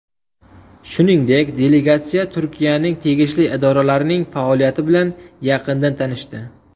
Shuningdek, delegatsiya Turkiyaning tegishli idoralarining faoliyati bilan yaqindan tanishdi.